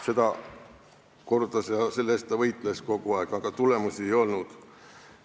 Seda ta kordas ja selle eest ta kogu aeg võitles, aga tulemusi ei olnud.